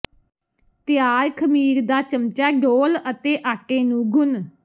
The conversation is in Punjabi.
ਤਿਆਰ ਖਮੀਰ ਦਾ ਚਮਚਾ ਡੋਲ੍ਹ ਅਤੇ ਆਟੇ ਨੂੰ ਗੁਨ੍ਹ